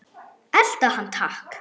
Elta hann takk!